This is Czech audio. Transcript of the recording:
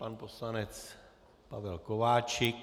Pan poslanec Pavel Kováčik.